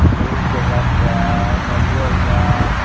नीम के गाछ बा नरियर बा।